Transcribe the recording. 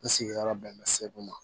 N sigiyɔrɔ bɛn bɛ segu ma